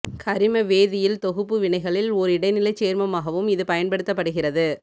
கரிம வேதியில் தொகுப்பு வினைகளில் ஓர் இடைநிலைச் சேர்மமாகவும் இது பயன்படுத்தப்படுகிறது